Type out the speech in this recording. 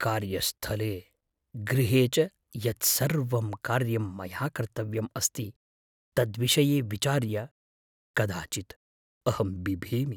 कार्यस्थले, गृहे च यत् सर्वं कार्यं मया कर्तव्यम् अस्ति तद्विषये विचार्य कदाचित् अहं बिभेमि।